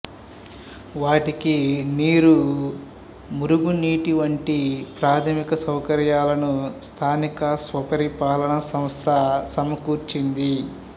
వాటికి నీరు మురుగునీటి వంటి ప్రాథమిక సౌకర్యాలను స్థానిక స్వపరిపాలన సంస్థ సమకూర్చింది